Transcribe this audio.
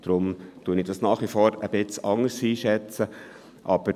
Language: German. Deshalb schätze ich es nach wie vor etwas anders ein.